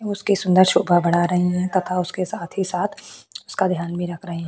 उसके सुंदर शोभा बढ़ा रहे है तथा उसके साथ ही साथ उसका ध्यान भी रही है।